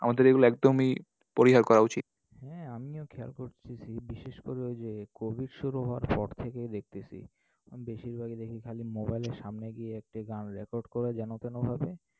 আমাদের এগুলো একদমই পরিহার করা উচিত। হ্যাঁ আমিও খেয়াল করতেছি, বিশেষ করে ওই যে Covid শুরু হওয়ার পর থেকেই দেখতেসি। বেশিরভাগই দেখি খালি mobile এর সামনে গিয়ে একটা গান record করে যেনতেনভাবে।